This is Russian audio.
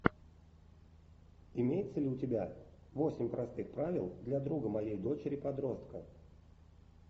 имеется ли у тебя восемь простых правил для друга моей дочери подростка